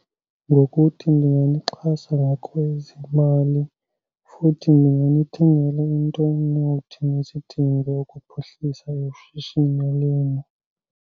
Ngokuthi ndingamxhasa ngakwezimali futhi ndingamthengela into onothi azidinge ukuphuhlisa ishishini alime.